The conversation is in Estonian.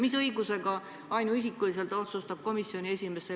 Mis õigusega otsustab komisjoni esimees ainuisikuliselt selliseid asju komisjoni nimel?